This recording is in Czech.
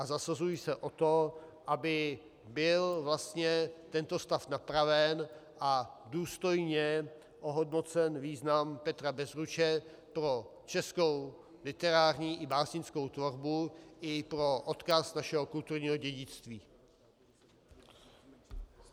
A zasazuji se o to, aby byl vlastně tento stav napraven a důstojně ohodnocen význam Petra Bezruče pro českou literární i básnickou tvorbu i pro odkaz našeho kulturního dědictví.